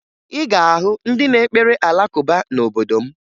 Ị ga-ahụ ndị na-ekpere Alakụba n'obodo m